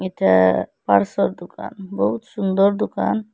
এটা দুকান বহুত সুন্দর দুকান ।